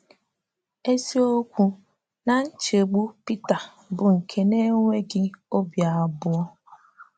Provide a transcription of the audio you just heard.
Eziokwu na nchegbu Pita bụ nke na-enweghị obi abụọ.